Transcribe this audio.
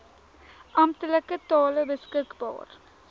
amptelike tale beskikbaar